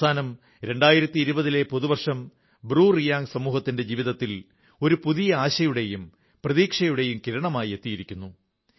അവസാനം 2020 ലെ പുതുവർഷം ബ്രൂറിയാംഗ് സമൂഹത്തിന്റെ ജീവിതത്തിൽ ഒരു പുതിയ ആശയുടെയും പ്രതീക്ഷയുടെയും കിരണവുമായി എത്തിയിരിക്കുന്നു